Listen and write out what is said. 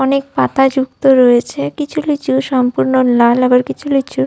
অনেক পাতা যুক্ত রয়েছে। কিছু লিচু সম্পূর্ণ লাল আবার কিছু লিচু --